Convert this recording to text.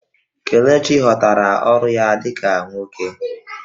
Kelechi ghọtara ọrụ ya dị ka nwoke